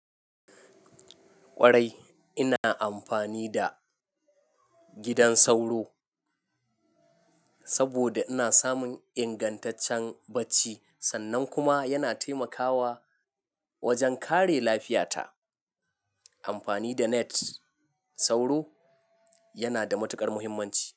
Kwarai ina amfani da gidan sauro saboda ina samun ingantaccen bacci sannan kuma yana taimakawa wajen kare lafiyata. Amfani da net sauro yana da matuƙar muhimmanci.